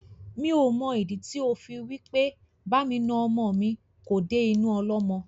Mi ò mọ ìdí tí ó fi wí pé bá mi na ọmọ mi kò dé inú ọlọ́mọ.